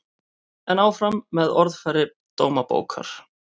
En áfram með orðfæri Dómabókar